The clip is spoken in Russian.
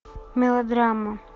мелодрама